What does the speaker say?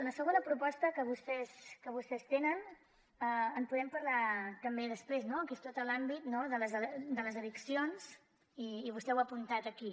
la segona proposta que vostès tenen en podem parlar després també no que és tot l’àmbit de les addiccions i vostè ho ha apuntat aquí